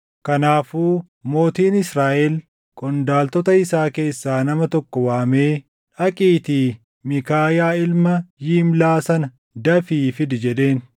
Kanaafuu mootiin Israaʼel qondaaltota isaa keessaa nama tokko waamee, “Dhaqiitii Miikaayaa ilma Yimlaa sana dafii fidi” jedheen.